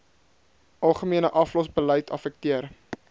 algemene aflosbeleid affekteer